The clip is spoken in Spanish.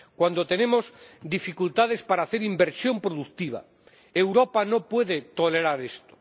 cuando tenemos dificultades para hacer inversión productiva, Europa no puede tolerar esto.